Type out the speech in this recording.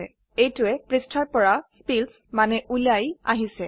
এইটোৱে পৃষ্ঠাৰ পৰা স্পিলছ মানে উলায় আহিছে160